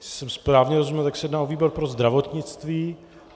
Jestli jsem správně rozuměl, tak se jedná o výbor pro zdravotnictví.